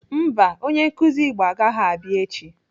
Mba, onye nkụzi Igbo agaghị abịa echi.